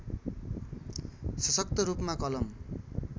सशक्त रूपमा कलम